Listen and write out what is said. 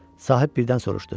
Sahib birdən soruşdu.